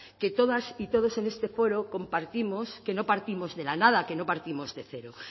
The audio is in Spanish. que todas y todos en este fuero compartimos que no partimos de la nada que no partimos de cero